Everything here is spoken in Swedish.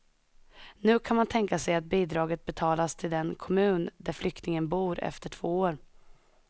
Nu kan man tänka sig att bidraget betalas till den kommun där flyktingen bor efter två år.